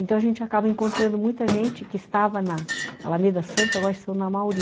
Então a gente acaba encontrando muita gente que estava na Alameda Santos e agora estão na Amauri.